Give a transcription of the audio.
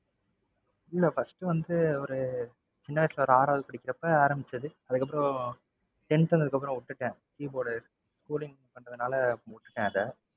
இல்ல first வந்து ஒரு சின்ன வயசுல ஒரு ஆறாவது படிக்கிறப்ப ஆரம்பிச்சது. அதுக்கப்பறம் tenth standard க்கு அப்பறம் விட்டுட்டேன். keyboard, schooling பண்றதுனால விட்டுட்டேன் அதை.